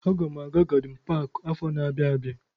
Aga m aga gadin paki afọ na-abịa abịa.